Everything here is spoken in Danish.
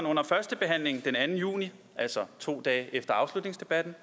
under førstebehandlingen den anden juni altså to dage efter afslutningsdebatten